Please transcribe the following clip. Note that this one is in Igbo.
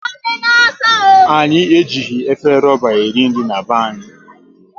Anyị e jighị efere ruba e ri nri n'be anyị